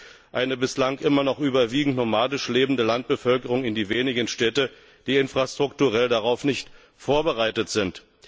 So drängt eine bislang immer noch überwiegend nomadisch lebende Landbevölkerung in die wenigen Städte, die infrastrukturell darauf nicht vorbereitet sind.